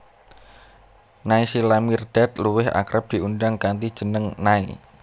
Naysila Mirdad luwih akrab diundang kanthi jeneng Nay